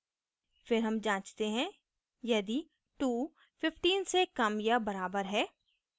फिर हम जाँचते हैं यदि 215 से कम या बराबर है